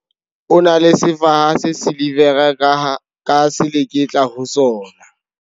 O na le sefaha se silivera ka seleketla ho sona.